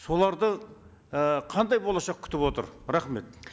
соларды і қандай болашақ күтіп отыр рахмет